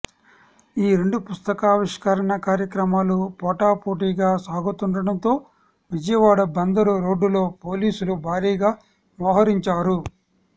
ఈ రెండు పుస్తకావిష్కరణ కార్యక్రమాలు పోటాపోటీగా సాగుతుండడంతో విజయవాడ బందరు రోడ్డులో పోలీసులు భారీగా మోహరించారు